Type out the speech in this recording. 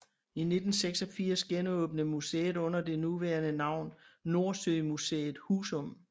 I 1986 genåbnede museet under det nuværende navn NordsøMuseet Husum